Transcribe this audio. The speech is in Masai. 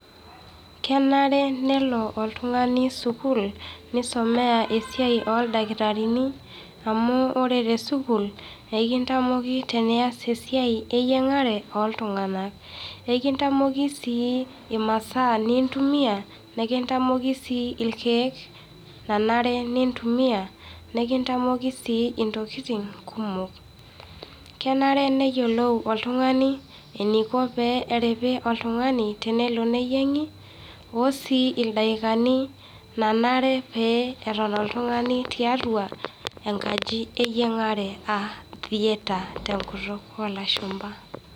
Kenare nelo oltungani sukuul neisomea esiai ooldakitarini, amu ore te sukuul ekintamoki tenias esia eyiengare ooltung'anak. Ekitamoki sii imasaa nintumia nikintamoki sii ilkeek nanare nintumia, nikintamoki sii intokiting' kumok. Kenare neyiolou oltungani eneiko pee eripi oltung'ani tenelo ne yiengi oo sii ildakikani nanare pee eton oltung'ani tiatua enkaji eyiengare aa theatre tenkituk oo lashumpa.